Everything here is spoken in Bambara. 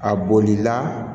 A bolila